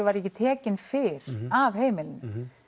var ekki tekinn fyrr af heimilinu